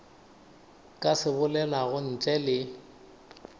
ka se bolelago ntle le